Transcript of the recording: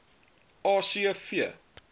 a c v